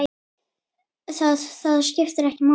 Það, það skiptir ekki máli?